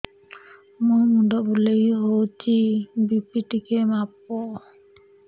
ମୋ ମୁଣ୍ଡ ବୁଲେଇ ହଉଚି ବି.ପି ଟିକେ ମାପ